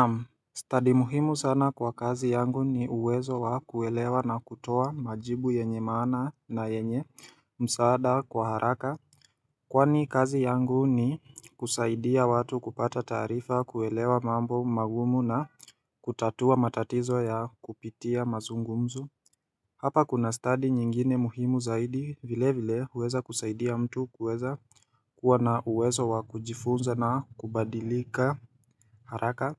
Naam stadi muhimu sana kwa kazi yangu ni uwezo wa kuelewa na kutoa majibu yenye maana na yenye msaada kwa haraka. Kwani kazi yangu ni kusaidia watu kupata taarifa, kuelewa mambo magumu na kutatua matatizo ya kupitia mazungumzo Hapa kuna stadi nyingine muhimu zaidi vilevile, huweza kusaidia mtu kuweza kuwa na uwezo wa kujifunza na kubadilika, haraka.